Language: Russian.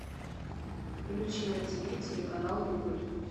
включи на тв телеканал рубль